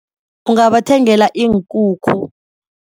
Ungabathengela iinkukhu.